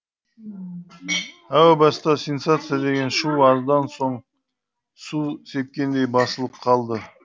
әу баста сенсация деген шу аздан соң су сепкендей басылып қалды